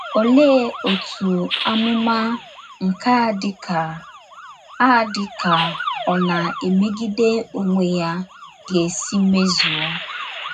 Olee otú amụma nke a dịka a dịka ọ na - emegide onwe ya ga - esi mezuo?